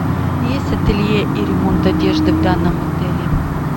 есть ателье и ремонт одежды в данном отеле